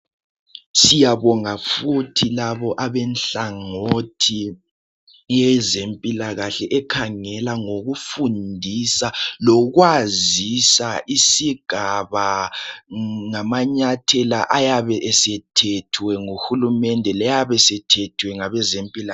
Siyabonga futhi labo abenhlangothi yezempilakahle ekhangela ngokufundisa lokwazisa isigaba ngamanyathela ayabe esethethwe nguhulumede leyabe esethethwe ngabezempilakahle.